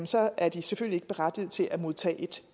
så er den selvfølgelig ikke berettiget til at modtage et